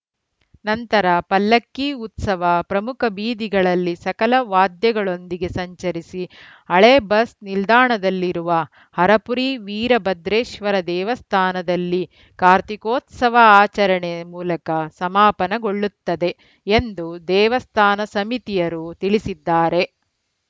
ನಂತರ ಪಲ್ಲಕ್ಕಿ ಉತ್ಸವ ಪ್ರಮುಖ ಬೀದಿಗಳಲ್ಲಿ ಸಕಲ ವಾದ್ಯಗಳೊಂದಿಗೆ ಸಂಚರಿಸಿ ಹಳೆ ಬಸ್‌ ನಿಲ್ದಾಣದಲ್ಲಿರುವ ಹರಪುರಿ ವೀರಭದ್ರೇಶ್ವರ ದೇವಸ್ಥಾನದಲ್ಲಿ ಕಾರ್ತೀಕೋತ್ಸವ ಆಚರಣೆ ಮೂಲಕ ಸಮಾಪನಗೊಳ್ಳುತ್ತದೆ ಎಂದು ದೇವಸ್ಥಾನ ಸಮಿತಿಯರು ತಿಳಿಸಿದ್ದಾರೆ